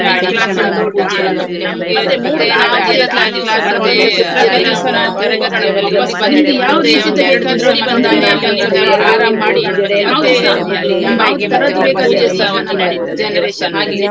ಇರ್~ ಶಿಕ್ಷಣ ಆಗಿರ್ಬೋದು, ಹಾಗೆ ಮತ್ತೆ ನಾವು ಹೋದದ್ ನಾನು convents ಶಾಲೆಗೆ ಹೋದದ್ದು. Convent ಶಾಲೆಗೆ ಅಲ್ಲಿಸಾ ಒಂದು ಶಿಸ್ತು ಅಂದ್ರೆ ನಾವು ಹೆ~ ಎರಡು ಜಡೆ ಎರಡು ಕಟ್ಕೊಂಡು ಹೋಗ್ಲಿಕ್ಕೆ ಮತ್ತ್ ಬಿಂದಿಯೆಲ್ಲಾಇಡ್ಲಿಕ್ಕಿಲ್ಲ ನಮ್ಗೆ ಹಾಗೆ.